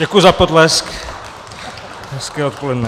Děkuji za potlesk, hezké odpoledne.